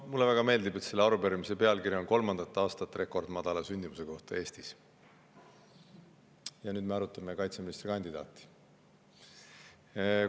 Mulle väga meeldib, et selle arupärimise pealkiri on "Kolmandat aastat rekordmadala sündimuse kohta Eestis" ja nüüd me arutame kaitseministrikandidaadiga seonduvat.